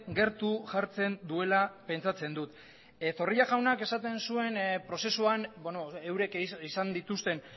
gertu jartzen duela pentsatzen dut zorrillajaunak esaten zuen prozesuan eurek izan dituzten